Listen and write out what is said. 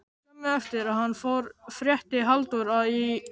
Skömmu eftir að hann fór frétti Halldór að í